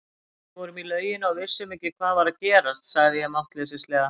Við vorum í lauginni og vissum ekki hvað var að gerast, sagði ég máttleysislega.